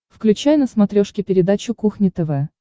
включай на смотрешке передачу кухня тв